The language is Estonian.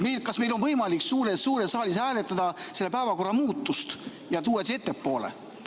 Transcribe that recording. Kas meil on võimalik suures saalis hääletada päevakorra muutust ja tuua see punkt ettepoole?